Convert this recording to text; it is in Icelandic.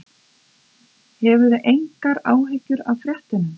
Hafðu engar áhyggjur af fréttunum.